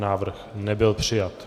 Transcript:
Návrh nebyl přijat.